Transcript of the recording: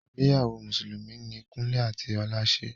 Ìgbéyàwó mùsùlùmí ní Kúnle àti Ọlá ṣe.